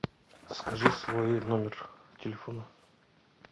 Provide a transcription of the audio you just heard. скажи свой номер телефона